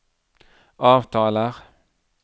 avtaler